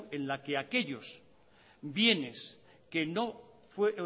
en la que aquellos bienes que